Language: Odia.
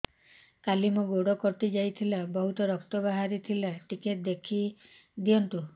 କାଲି ମୋ ଗୋଡ଼ କଟି ଯାଇଥିଲା ବହୁତ ରକ୍ତ ବାହାରି ଥିଲା ଟିକେ ଦେଖି ଦିଅନ୍ତୁ